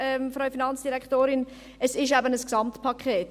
Frau Finanzdirektorin, Sie haben gesagt, es sei eben ein Gesamtpaket.